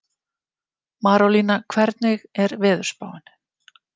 Marólína, hvernig er veðurspáin?